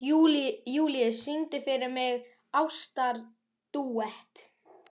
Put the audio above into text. Júlíus, syngdu fyrir mig „Ástardúett“.